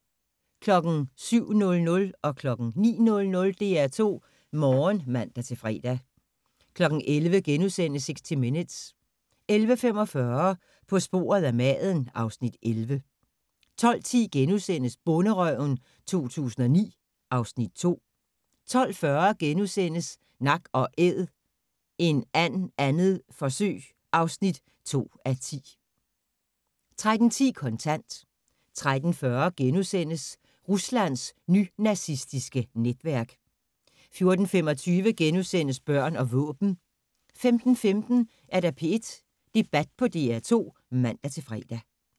07:00: DR2 Morgen (man-fre) 09:00: DR2 Morgen (man-fre) 11:00: 60 Minutes * 11:45: På sporet af maden (Afs. 11) 12:10: Bonderøven 2009 (Afs. 2)* 12:40: Nak & æd – en and 2. forsøg (2:10)* 13:10: Kontant 13:40: Ruslands nynazistiske netværk * 14:25: Børn og våben * 15:15: P1 Debat på DR2 (man-fre)